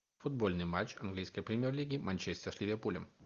футбольный матч английской премьер лиги манчестер с ливерпулем